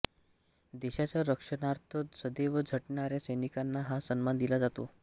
देशाच्या रक्षणार्थ सदैव झटणाऱ्या सैनिकांना हा सन्मान दिला जातो